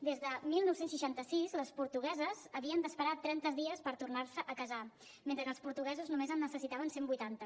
des de dinou seixanta sis les portugueses havien d’esperar tres cents dies per tornar se a casar mentre que els portuguesos només en necessitaven cent vuitanta